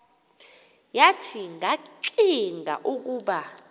wathi ngakllcinga ukub